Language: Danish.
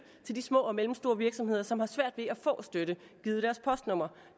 til de små og mellemstore virksomheder som har svært ved at få støtte givet deres postnummer